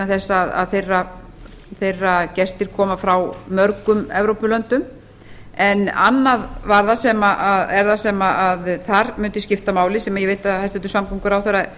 þess að þeirra gestir koma frá mörgum evrópulöndum en annað er það sem þar mundi skipta máli sem ég veit að hæstvirtur samgönguráðherra